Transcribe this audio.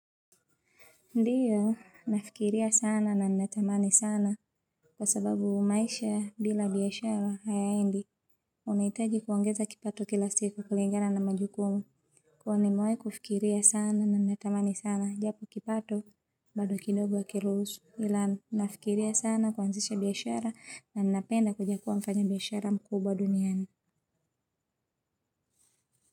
Ndiyo nafikiria sana na natamani sana kwa sababu maisha bila biashara hayaendi. Unahitaji kuongeza kipato kila siku kulingana na majukumu nimewahi kufikiria sana na natamani sana japo kipato bado kidogo hakiruhusu. Ila nafikiria sana kuanzisha biashara na ningependa kuja kuwa mfanya biashara mkubwa duniani.